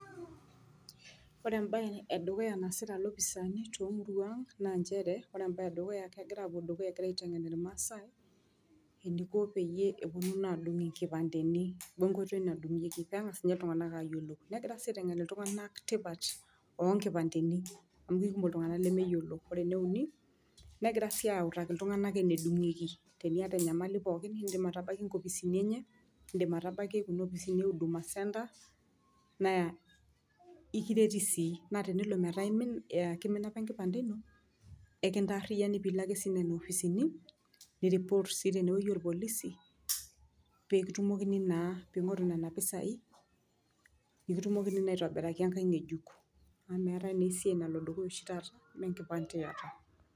Ore embae edukuyaa naasitae iloopisani toomurwaa ang naa nchere kegira aapuo dukuya egira aitanap ilmaasae eniko peyie epuonu naa aadug inkipandeni we ngoitoi nadugoeki pee engas ninye iltuganak aayiolou tipat ooh nkipandeni amu kikumok iltuganak lemeyiolo . Ore eneuni negira sii aautaki iltunganak enedugieku teniataa enyamali pooki nidim atabaiki inkopisini enye nidim atabaiki Kuna opisini e huduma center naa ekireti sii naa tenelo metaa keimina apa enkipande ino naa ekintaariyiani pee Iko ake nena opisini ni report sii tene wueji ooh polisi pee kitumokini naa pee igoru Nena pisai pee kitumokini naa aiguraki enkae ngejuk . Amu meetae naa esiai nalo dukuya oshii taata me enkipande iata.